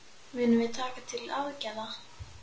Munum við taka til aðgerða?